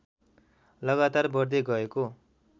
लगातार बढ्दै गएको